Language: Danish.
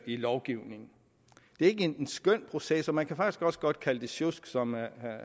i lovgivningen det er ikke en skøn proces og man kan faktisk også godt kalde det sjusk som